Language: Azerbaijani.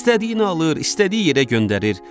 İstədiyini alır, istədiyi yerə göndərir.